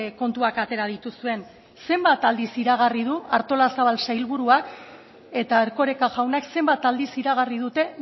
kontuak atera dituzuen zenbat aldiz iragarri du artolazabal sailburuak eta erkoreka jaunak zenbat aldiz iragarri dute